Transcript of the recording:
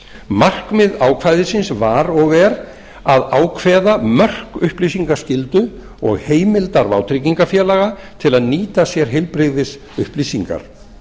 markmið ákvæðisins var og er að ákveða mörk upplýsingaskyldu og heimildar vátryggingafélag til að nýta sér heilbrigðisupplýsingar